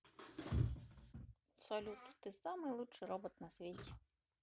салют ты самый лучший робот на свете